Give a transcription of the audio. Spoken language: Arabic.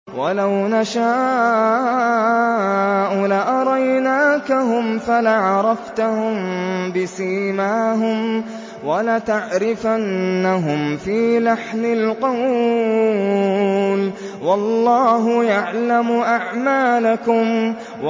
وَلَوْ نَشَاءُ لَأَرَيْنَاكَهُمْ فَلَعَرَفْتَهُم بِسِيمَاهُمْ ۚ وَلَتَعْرِفَنَّهُمْ فِي لَحْنِ الْقَوْلِ ۚ وَاللَّهُ يَعْلَمُ أَعْمَالَكُمْ